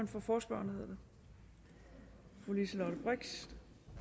for forespørgerne fru liselott blixt